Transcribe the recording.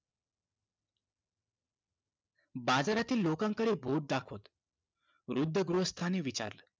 बाजारातील लोकांकडे बोट दाखवतो वृद्ध गृहस्थाने विचारलं